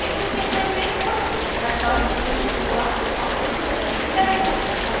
if statement में puts method घोषित हुआ आउटपुट प्रदर्शित करेगा